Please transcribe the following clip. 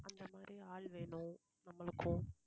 அந்த மாதிரி ஆள் வேணும் நம்மளுக்கும்.